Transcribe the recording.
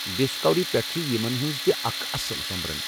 Discovery پٮ۪ٹھ چھ یِمَن ہنٛز تہِ اکھ اصٕل سوٚمبرَن۔